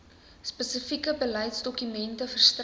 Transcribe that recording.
spesifieke beleidsdokumente verstrek